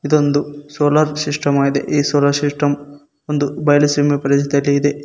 ಇದೊಂದು solar system ಆಗಿದೆ solar system ಒಂದು ಬಯಲು ಪ್ರದೇಶದಲ್ಲಿ ಇದೆ.